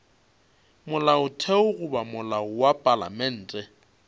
molaotheo goba molao wa palamente